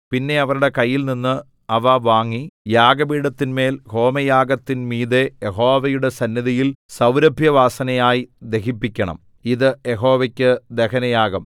പിന്നെ അവരുടെ കയ്യിൽനിന്ന് അവ വാങ്ങി യാഗപീഠത്തിന്മേൽ ഹോമയാഗത്തിന്മീതെ യഹോവയുടെ സന്നിധിയിൽ സൗരഭ്യവാസനയായി ദഹിപ്പിക്കണം ഇത് യഹോവയ്ക്ക് ദഹനയാഗം